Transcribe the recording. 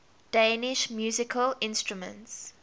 danish musical instruments